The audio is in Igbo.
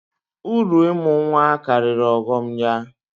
Uru ịmụ nnwa karịrị ọghọm ya